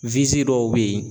dɔw bɛ yen